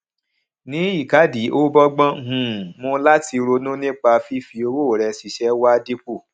ní ìkádìí ó bógbón um mu láti ronú nípa fífi owó rẹ ṣiṣẹ wá dípò